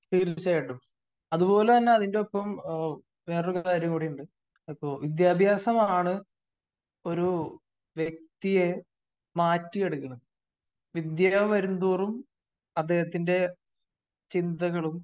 തീർച്ചയായിട്ടും അത്പോലെ തന്നെ അതിന്റോപ്പം വേറെ ഒരു കാര്യം കൂടി ഉണ്ട് ഇപ്പോ വിദ്യാഭ്യാസമാണ് ഒരു വ്യക്തിയെ മാറ്റിയെടുക്കുന്നത്. വിദ്യ വരും തോറും അദ്ദേഹത്തിന്റെ ചിന്തകളും